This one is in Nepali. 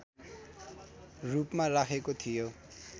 रूपमा राखेको थियो